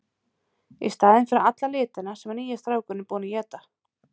Í staðinn fyrir alla litina sem nýi strákurinn er búinn að éta.